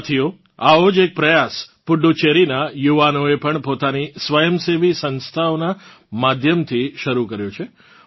સાથીઓ આવો જ એક પ્રયાસ પુડુચેરીનાં યુવાનોએ પણ પોતાની સ્વયંસેવી સંસ્થાઓનાં માધ્યમથી શરૂ કર્યો છે